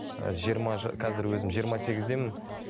ы жиырма қазір өзім жиырма сегіздемін